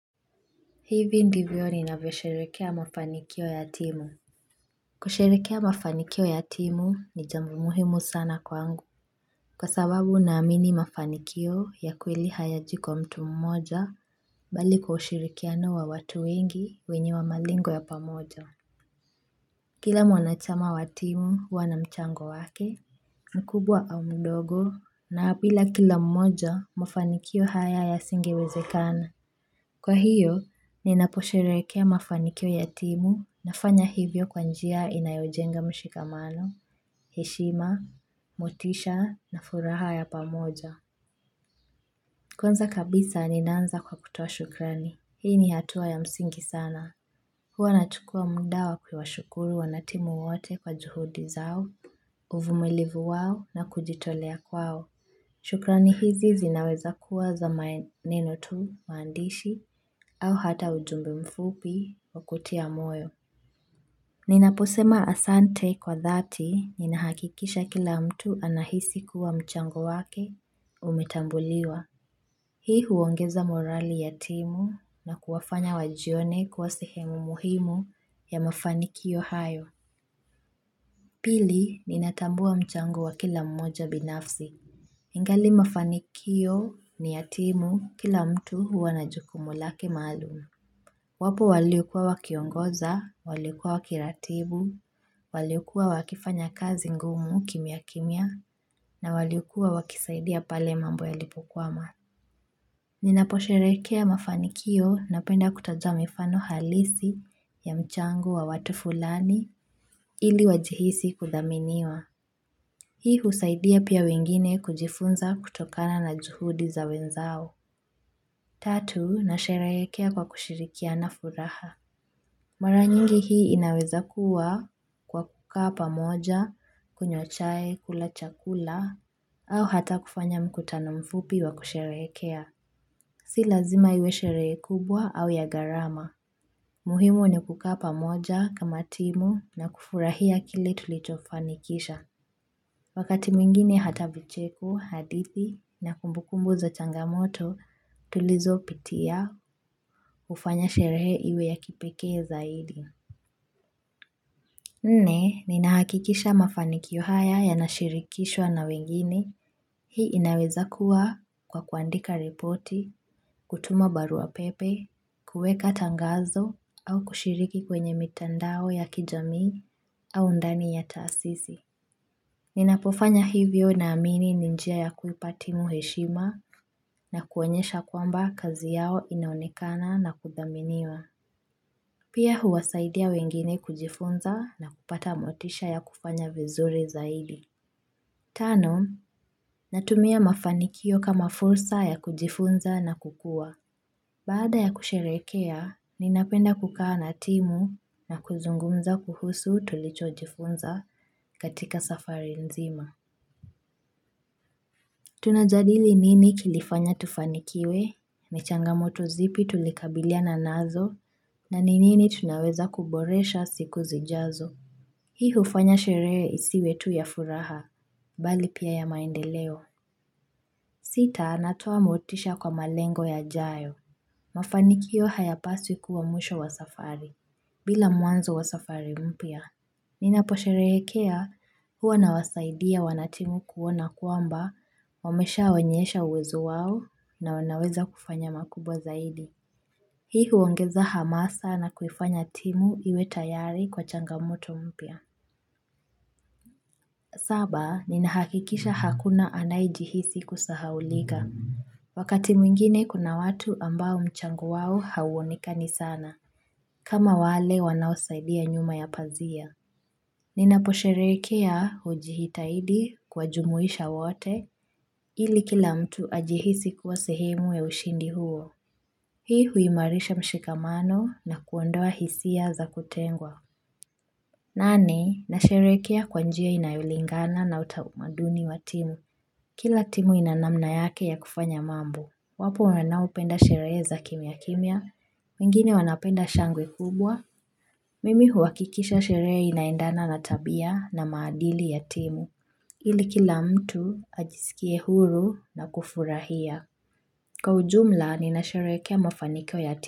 Hivi ndivyo ni navosherehekea mafanikio ya timu Kushlerehekea mafanikio ya timu ni jambo muhimu sana kwangu Kwa sababu naamini mafanikio ya kweli hayaji kwa mtu mmoja bali kushirikiano wa watu wengi wenye wa malengo ya pamoja Kila mwanachama wa timu hua na mchango wake mkubwa au mdogo na bila kila mmoja mafanikio haya ya singiwezekana Kwa hiyo, ninaposherekea mafanikio yatimu na fanya hivyo kwanjia inayojenga mshikamano, heshima, motisha na furaha ya pamoja. Kwanza kabisa ninaanza kwa kutoa shukrani. Hii ni hatua ya msingi sana. Hua nachukua mda wa kuwa shukuru wanatimu wote kwa juhudi zao, uvumilivu wao na kujitolea kwao. Shukrani hizi zinaweza kuwa za maneno tu maandishi au hata ujumbe mfupi wakutia moyo. Ninaposema asante kwa dhati ninahakikisha kila mtu anahisi kuwa mchango wake umetambuliwa. Hii huongeza morali ya timu na kuwafanya wajione kuwasehemu muhimu ya mafanikio hayo. Pili ninatambua mchango wa kila mmoja binafsi. Ingali mafanikio ni yatimu kila mtu huwana jukumulake maalum. Wapo waliokua wakiongoza, waliukua wakiratibu, waliokua wakifanya kazi ngumu kimia kimia na waliokua wakisaidia pale mambo ya lipo kwama. Ninaposherekea mafanikio na penda kutajamifano halisi ya mchango wa watu fulani ili wajihisi kudhaminiwa. Hii husaidia pia wengine kujifunza kutokana na juhudi za wenzao. Tatu na sherehekea kwa kushirikia na furaha. Mara nyingi hii inaweza kuwa kwa kukaa pamoja, kunywa chai kula chakula, au hata kufanya mkutano mfupi wa kusherehekea. Si lazima iwe sheree kubwa au ya garama. Muhimu ni kuka pamoja kama timu na kufurahia kilitulitofanikisha. Wakati mwingine hata vicheko, hadithi, na kumbukumbu za changamoto, tulizo pitia hufanya sherehe iwe ya kipeke zaidi. Nne, ninahakikisha mafanikio haya ya nashirikishwa na wengine, hii inaweza kuwa kwa kuandika repoti, kutuma barua pepe, kuweka tangazo, au kushiriki kwenye mitandao ya kijamii, au ndani ya taasisi. Ninapofanya hivyo na amini ninjia ya kupatimu heshima na kuonyesha kwamba kazi yao inaonekana na kudhaminiwa. Pia huwasaidia wengine kujifunza na kupata motisha ya kufanya vizuri zaidi. Tano, natumia mafanikio kama fursa ya kujifunza na kukua. Baada ya kusherekea, ninapenda kukaa na timu na kuzungumza kuhusu tulicho jifunza katika safari nzima. Tunajadili nini kilifanya tufanikiwe, ni changa moto zipi tulikabilia na nazo, na nini tunaweza kuboresha siku zijazo Hii hufanya sherehe isiwe tu ya furaha, bali pia ya maendeleo Sita anatoa motisha kwa malengo ya jayo Mafanikio haya paswi kuwa mwisho wa safari, bila muanzo wa safari mpia Ninapo sherehekea huwa na wasaidia wanatimu kuona kuamba wamesha onyesha uwezo wao na wanaweza kufanya makubwa zaidi. Hii huongeza hamasa na kufanya timu iwe tayari kwa changamoto mpia. Saba, ninahakikisha hakuna anaejihisi kusahaulika. Wakati mwingine kuna watu ambao mchango wao hauoneka ni sana. Kama wale wanaosaidia nyuma ya pazia. Ninapo sherehekea hujihitahidi kwa jumuisha wote, ili kila mtu ajihisi kuwa sehemu ya ushindi huo. Hii huimarisha mshikamano na kuondoa hisia za kutengwa. Nane, na sherehekea kwanjia inayulingana na utaumaduni watimu. Kila timu inanamna yake ya kufanya mambo. Wapo wanaopenda sherehe za kimya kimya, wengine wanapenda shangwe kubwa. Mimi huwakikisha sheree inaendana na tabia na maadili ya timu, ili kila mtu ajisikie huru na kufurahia. Kwa ujumla, nina sherehekea mafaniko ya timu.